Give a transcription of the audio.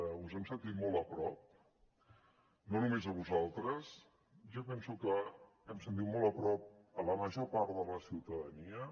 us hem sentit molt a prop no només a vosaltres jo penso que hem sentit molt a prop la major part de la ciutadania